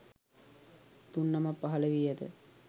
තුන්නමක් පහළ වී ඇත.